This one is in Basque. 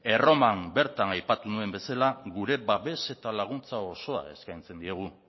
erroman bertan aipatu nuen bezala gure babes eta laguntza osoa eskaintzen diegu